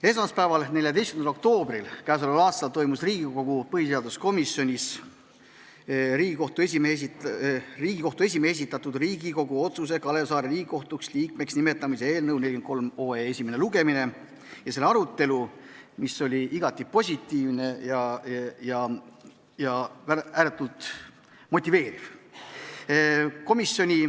Esmaspäeval, 14. oktoobril k.a toimus Riigikogu põhiseaduskomisjonis Riigikohtu esimehe esitatud Riigikogu otsuse "Kalev Saare Riigikohtu liikmeks nimetamine" eelnõu 43 esimene lugemine ja arutelu, mis oli igati positiivne ja ääretult motiveeriv.